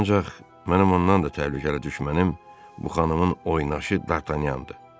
Ancaq mənim ondan da təhlükəli düşmənim bu xanımın oynaaşı Dartanyandır.